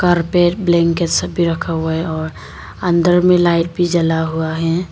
बाहर पे ब्लैंकेट सब भी रखा हुआ है और अंदर में लाइट भी जला हुआ है।